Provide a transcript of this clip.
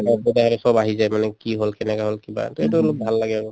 direct সব আহি যায় মানে কি হল কেনেকৈ হল কিবা এটা সেইটো অলপ ভাল লাগে আৰু